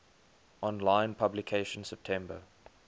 online publication september